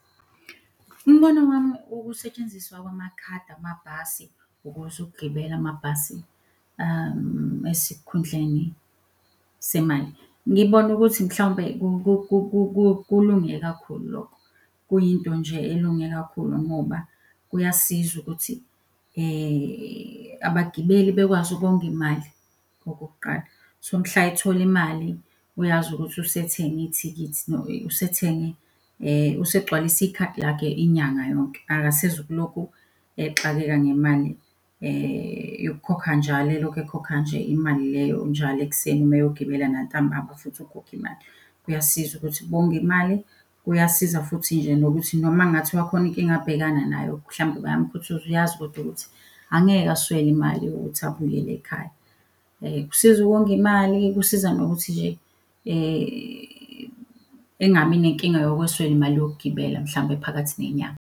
Umbono wami ukusetshenziswa kwamakhadi amabhasi ukuze ukugibela amabhasi esikhundleni semali. Ngibona ukuthi mhlawumbe kulunge kakhulu lokho, kuyinto nje elunge kakhulu ngoba kuyasiza ukuthi abagibeli bekwazi ukonga imali okokuqala. So mhla ethole imali uyazi ukuthi usethenge ithikithi , usethenge usegcwalise ikhadi lakhe inyanga yonke, akasezu ukulokhu exakeka ngemali yokukhokha njalo eloku ekhokha nje imali leyo njalo ekuseni uma eyogibela nantambama futhi ukhokha imali. Kuyasiza ukuthi konga imali, kuyasiza futhi nje nokuthi noma kungathiwa khona inkinga abhekana nayo mhlawumbe bayamukhuthuza uyazi kodwa ukuthi angeke aswele imali yokuthi abuyele ekhaya. Kusiza ukonga imali, kusiza nokuthi nje engabi nenkinga yokweswela imali yokugibela mhlawumbe phakathi nenyanga.